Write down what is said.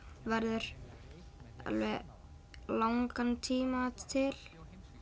verður alveg langan tíma til